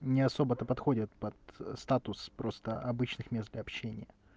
не особо-то подходят под статус просто обычных мест для общения